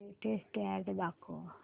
latest ad दाखव